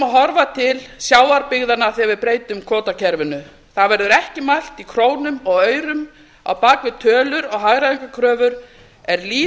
horfa til sjávarbyggðanna þegar við breytum kvótakerfinu það verður ekki mælt í krónum og aurum á bak við tölur og hagræðingarkröfur er líf